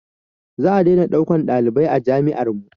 Za a daina ɗaukan ɗalibai a jami'ar mu